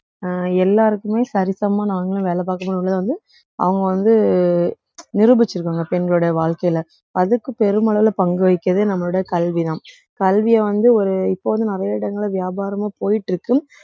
அஹ் எல்லாருக்குமே சரிசமமா நாங்களும் வேலை பார்க்கப் போறோம்ல வந்து அவுங்க வந்து நிரூபிச்சிருக்காங்க பெண்களுடைய வாழ்க்கையிலே அதுக்குப் பெருமளவில பங்கு வகிக்கிறது நம்மளுடைய கல்விதான் கல்வியை வந்து ஒரு இப்போது நிறைய இடங்கள்ல வியாபாரமா போயிட்டிருக்கு